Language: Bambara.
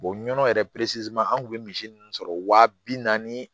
nɔnɔ yɛrɛ an kun bɛ misi ninnu sɔrɔ wa bi naani